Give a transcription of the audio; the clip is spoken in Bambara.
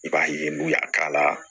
I b'a ye n'u y'a k'a la